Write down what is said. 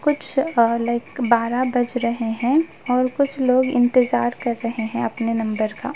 कुछ uh like बारह बज रहे हैं और कुछ लोग इंतज़ार कर रहे हैं अपने नंबर का।